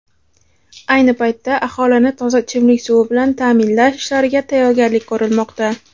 Ayni paytda aholini toza ichimlik suvi bilan ta’minlash ishlariga tayyorgarlik ko‘rilmoqda.